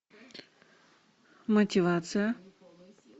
мотивация